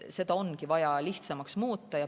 Seda ongi vaja lihtsamaks muuta.